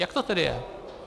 Jak to tedy je?